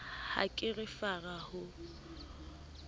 ha ke re fara ho